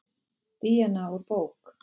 Díana úr bók.